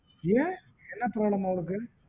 ஏன் என்ன problem மா அவளுக்கு